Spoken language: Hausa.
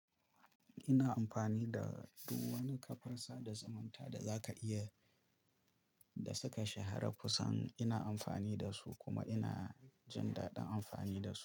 Ina amfani da duk wani kafar sada zumunta da za ka iya, da suka shahara kusan ina amfani da su kuma ina jin daɗin amfani da su.